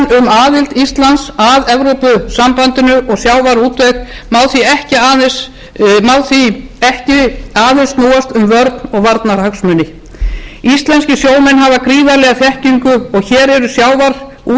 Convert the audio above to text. aðild íslands að evrópusambandinu og sjávarútveg má því ekki aðeins snúast um vörn og varnarhagsmuni íslenskir sjómenn búa yfir gríðarlegri þekkingu og hér eru sjávarútvegsfyrirtæki sem hafa burði